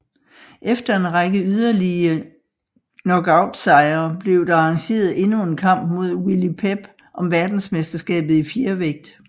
Efter en række yderlige knockoutsejre blev der arrangeret endnu en kamp mod Willie Pep om verdensmesterskabet i fjervægt